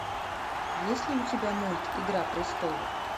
есть ли у тебя мульт игра престолов